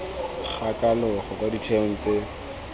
ga kalogo kwa ditheong tse